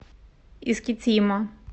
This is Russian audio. искитима